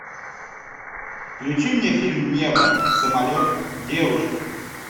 включи мне фильм небо самолет девушка